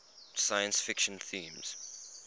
science fiction themes